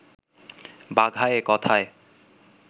বাঘা এ কথায়